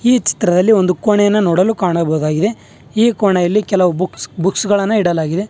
ಈ ಚಿತ್ರದಲ್ಲಿ ಒಂದು ಕೋಣೆಯನ್ನು ನೋಡಲು ಕಾಣಬಹುದಾಗಿದೆ ಈ ಕೋಣೆಯಲ್ಲಿ ಕೆಲವು ಬುಕ್ಸ್ ಬುಕ್ಸ್ ಗಳನ್ನ ಇಡಲಾಗಿದೆ.